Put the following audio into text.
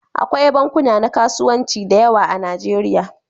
Akwai bankuna na kasuwanci da yawa a Nijeriya.